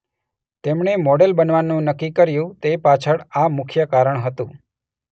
તેમણે મોડલ બનવાનું નક્કી કર્યું તે પાછળ આ મુખ્ય કારણ હતું.